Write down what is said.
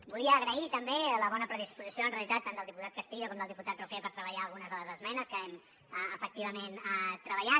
volia agrair també la bona disposició en realitat tant del diputat castillo com del diputat roquer per treballar algunes de les esmenes que hem efectivament treballat